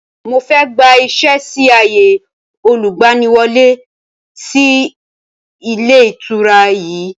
Mo fẹ́ gbà ìṣẹ́ sì ààyè olùgbaniwọ́lẹ́ sì ilé ìtura yìí